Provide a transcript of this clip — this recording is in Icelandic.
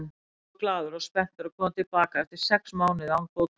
Ég er svo glaður og spenntur að koma til baka eftir sex mánuði án fótbolta.